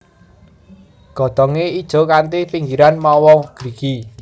Godhongé ijo kanthi pinggirian mawa grigi